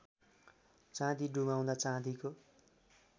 चाँदी डुबाउँदा चाँदीको